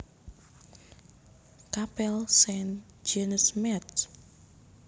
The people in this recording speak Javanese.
Kapél Saint Genest Métz